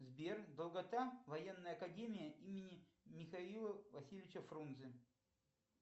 сбер долгота военная академия имени михаила васильевича фрунзе